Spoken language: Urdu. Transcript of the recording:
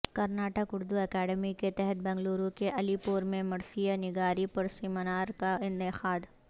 کرناٹک اردو اکیڈمی کے تحت بنگلورو کےعلی پور میں مرثیہ نگاری پرسمینار کا انعقاد